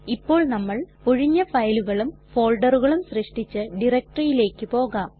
ഇപ്പോൾ നമ്മൾ ഒഴിഞ്ഞ ഫയലുകളും ഫോൾഡറുകളും സൃഷ്ടിച്ച directoryയിലേക്ക് പോകാം